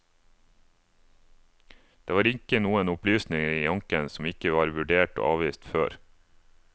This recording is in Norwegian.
Det var ikke noen opplysninger i anken som ikke var vurdert og avvist før.